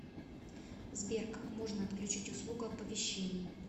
сбер как можно отключить услугу оповещений